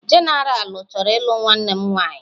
Genaralu chọrọ ịlụ nwanne m nwanyị.